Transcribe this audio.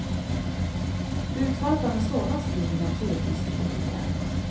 Utfallet av en sådan stil blir naturligtvis litet ojämnt.